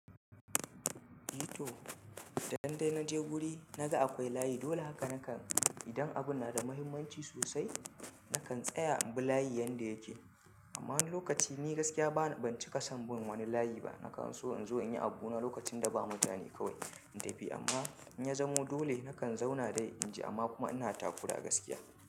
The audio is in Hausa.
Yito, idandai naje guri naga akwai layi, dole haka nankan. Idan abun na da muhimmanci sosai, nakan tsaya in bi layi yanda yake. Amma wani lokaci ni gaskiya bana, ban cika son bin wani layi ba. Nakan so in zo in yi abu na lokacin da ba mutane kawai in tafi. Amma in ya zamo dole, nakan zauna dai inji amma kuma ina takura gaskiya.